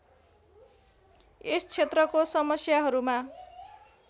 यस क्षेत्रको समस्याहरूमा